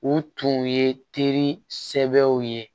U tun ye teri sɛbɛw ye